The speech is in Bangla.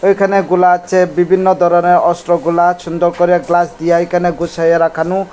এখানে গোলা আছে বিভিন্ন ধরনের অস্ত্র গোলা ছুন্দর করে গ্লাস দিয়ে এইখানে গুছাইয়া রাখানু ।